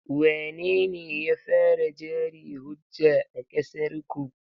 Wanene ya fara jari-hujja a ƙasarku?